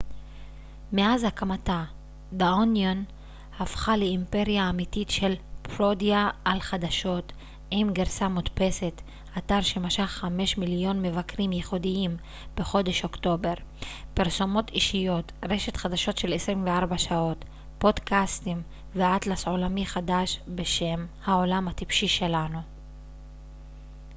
"מאז הקמתה "דה אוניון" הפכה לאימפריה אמתית של פרודיה על חדשות עם גרסה מודפסת אתר שמשך 5,000,000 מבקרים ייחודיים בחודש אוקטובר פרסומות אישיות רשת חדשות של 24 שעות פודקאסטים ואטלס עולמי חדש בשם "העולם הטיפשי שלנו"".